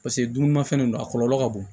Paseke dumunimafɛn de don a kɔlɔlɔ ka bon